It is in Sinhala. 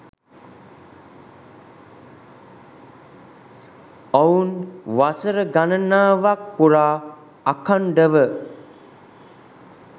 ඔවුන් වසර ගණනාවක් පුරා අඛන්ඩව